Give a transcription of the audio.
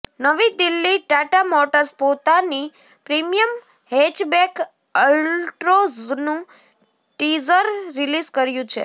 નવી દિલ્હીઃ ટાટા મોટર્સે પોતાની પ્રીમિયમ હેચબેક અલ્ટ્રોઝનું ટીઝર રિલીઝ કર્યું છે